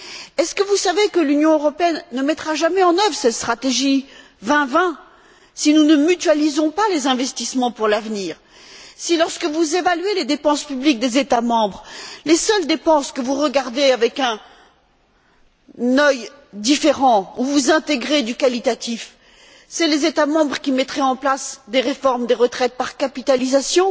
Est ce que vous savez que l'Union européenne ne mettra jamais en œuvre cette stratégie 2020 si nous ne mutualisons pas les investissements pour l'avenir, si, lorsque vous évaluez les dépenses publiques des États membres, les seules dépenses que vous regardez avec un œil différent, où vous intégrez du qualitatif, ce sont les États membres qui mettraient en place des réformes des retraites par capitalisation